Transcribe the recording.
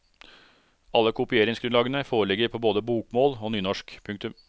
Alle kopieringsgrunnlagene foreligger på både bokmål og nynorsk. punktum